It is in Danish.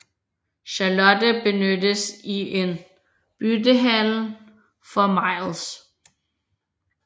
Charlotte benyttes i en byttehandel for Miles